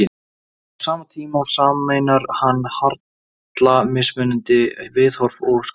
Á sama tíma sameinar hann harla mismunandi viðhorf og skoðanir.